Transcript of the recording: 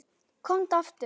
Komdu aftur.